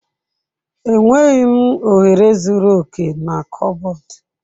Enweghị ohere zuru oke na kọbọd.